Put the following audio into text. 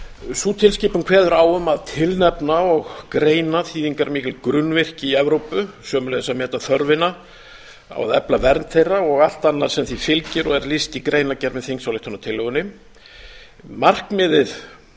sú tilskipun kveður á um að tilnefna og greina þýðingarmikil grunnvirki í evrópu sömuleiðis að meta þörfina á að efla vernd þeirra og allt annað sem því fylgir og er lýst í greinargerð með þingsályktunartillögunni markmiðið